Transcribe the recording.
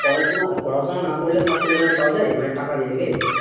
তাহলে কিনা পড়াশোনা না করলে certificate ওখানে পাওয়া যায় মানে টাকা দিয়ে নাকি,